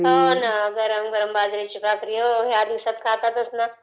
हो गरम गरम बाजरीचा भाकरी ..हो ... ह्या दिवसात .खाताततच ना